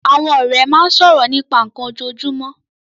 Àwọn ọ̀rẹ́ máa ń sọ̀rọ̀ nípa nnkan ojoojúmọ́